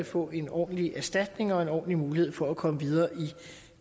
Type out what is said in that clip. at få en ordentlig erstatning og en ordentlig mulighed for at komme videre i